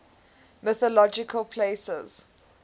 mythological places